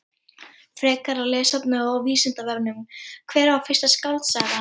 Frekara lesefni á Vísindavefnum: Hver var fyrsta skáldsagan?